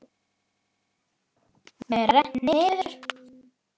Með rennt niður.